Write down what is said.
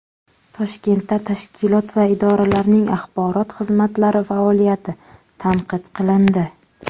Toshkentda tashkilot va idoralarning axborot xizmatlari faoliyati tanqid qilindi.